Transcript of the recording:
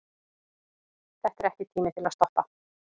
Þetta er ekki tími til að stoppa.